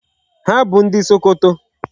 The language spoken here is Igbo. Ha bụ ndị Sokoto.